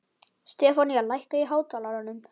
Stefanía, lækkaðu í hátalaranum.